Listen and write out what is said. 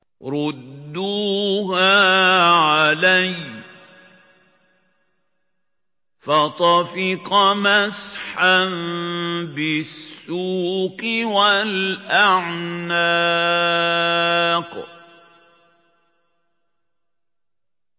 رُدُّوهَا عَلَيَّ ۖ فَطَفِقَ مَسْحًا بِالسُّوقِ وَالْأَعْنَاقِ